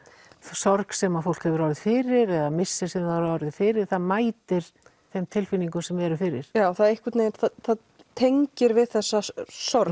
sorg sem fólk hefur orðið fyrir eða missir sem það hefur orðið fyrir það mætir þeim tilfinningum sem eru fyrir það einhvern veginn tengir við þessa sorg